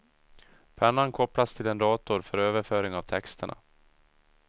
Pennan kopplas till en dator för överföring av texterna.